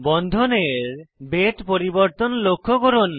বন্ধনের বেধ পরিবর্তন লক্ষ্য করুন